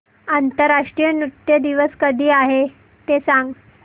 आंतरराष्ट्रीय नृत्य दिवस कधी आहे ते सांग